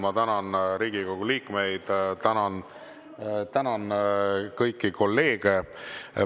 Ma tänan Riigikogu liikmeid, tänan kõiki kolleege.